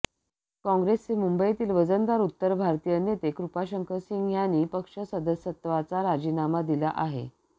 काँग्रेसचे मुंबईतील वजनदार उत्तर भारतीय नेते कृपाशंकर सिंह यांनी पक्ष सदस्यत्वाचा राजीनामा दिला आहे